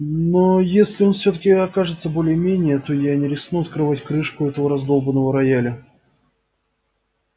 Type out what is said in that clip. но если он всё-таки окажется более-менее то я не рискну открывать крышку этого раздолбанного рояля